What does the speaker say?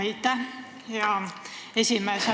Aitäh, hea esimees!